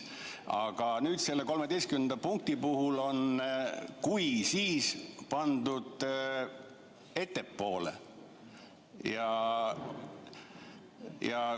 Aga selle 13. punkti puhul on "kui, siis ..." pandud ettepoole.